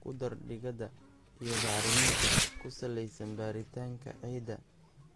Ku dar digada iyo bacriminta ku salaysan baaritaanka ciidda